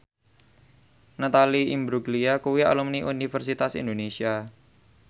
Natalie Imbruglia kuwi alumni Universitas Indonesia